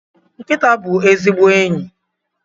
Nkịta bụ ezigbo enyi